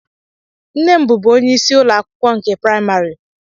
Nne m bụbu onyeisi ụlọ akwụkwọ nke praimarị